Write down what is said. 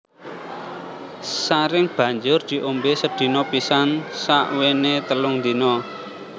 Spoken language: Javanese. Saring banjur diombé sedina pisan sakwéné telung dina